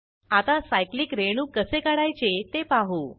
आता सायक्लिक रेणू कसे काढायचे ते पाहू